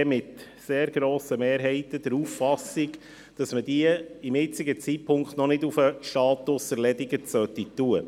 Die FiKo ist je mit sehr grosser Mehrheit der Auffassung, dass man diese zum jetzigen Zeitpunkt noch nicht auf den Status «erledigt» setzen sollte.